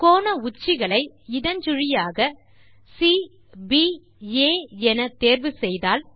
கோண உச்சிகள் ஐ இடஞ்சுழியாக சிபிஏ என தேர்வு செய்தால்